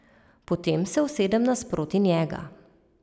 Potem se usedem nasproti njega.